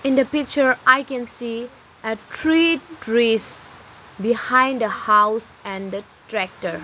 in the picture i can see a three trees behind the house and the tractor.